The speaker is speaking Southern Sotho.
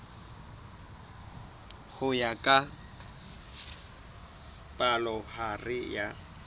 ho ya ka palohare ya